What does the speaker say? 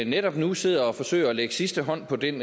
netop nu sidder og forsøger at lægge sidste hånd på den